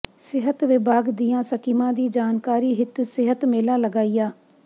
ਸਿਹਤ ਵਿਭਾਗ ਦੀਆਂ ਸਕੀਮਾਂ ਦੀ ਜਾਣਕਾਰੀ ਹਿਤ ਸਿਹਤ ਮੇਲਾ ਲਗਾਇਆ